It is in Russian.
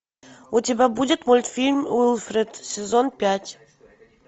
у тебя будет мультфильм уилфред сезон пять